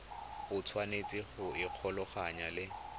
o tshwanetse go ikgolaganya le